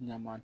Ɲama